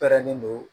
Pɛrɛnnen don